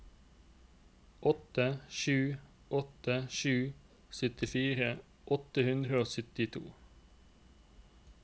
åtte sju åtte sju syttifire åtte hundre og syttito